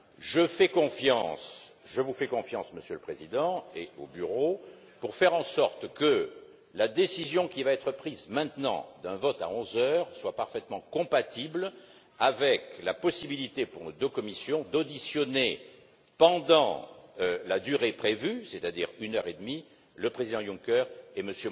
Je vous fais confiance, Monsieur le Président, ainsi qu'au Bureau, pour faire en sorte que la décision qui va être prise maintenant d'un vote à 11 heures soit parfaitement compatible avec la possibilité pour nos deux commissions d'auditionner, pendant la durée prévue, c'est à dire une heure et demie, le président Juncker et M.